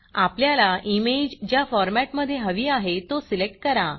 आपल्याला इमेज ज्या फॉरमॅटमधे हवी आहे तो सिलेक्ट करा